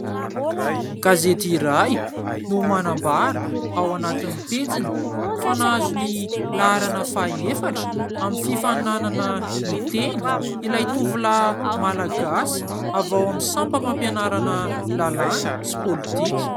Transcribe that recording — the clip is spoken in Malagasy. Gazety iray no manambara ao anatin'ny pejiny fa nahazo ny laharana faha-efatra amin'ny fifaninana miteny ilay tovolahy Malagasy avy ao amin'ny sampam-pampianarana lalàna sy politika.